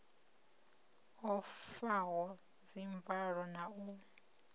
o faho dzimvalo na u